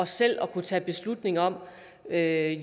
selv at kunne tage beslutning om at